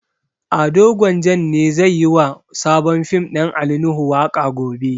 Ado Gwanjan ne zai yi wa sabon fim ɗin Ali Nuhu waƙa gobe.